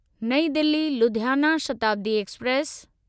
New Delhi Ludhiana Shatabdi express